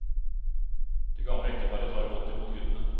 Det gamle ekteparet tar godt imot guttene.